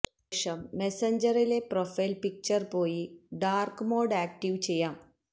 ശേഷം മെസഞ്ചറിലെ പ്രൊഫൈല് പിക്ചറില് പോയി ഡാര്ക് മോഡ് ആക്ടിവേറ്റ് ചെയ്യാം